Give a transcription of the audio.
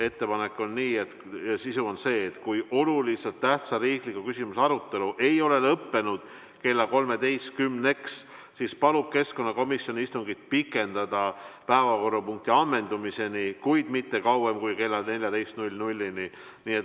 Ettepaneku sisu on see, et kui oluliselt tähtsa riikliku küsimuse arutelu ei ole lõppenud kella 13-ks, siis palub keskkonnakomisjon istungit pikendada päevakorrapunkti ammendumiseni, kuid mitte kauem kui kella 14-ni.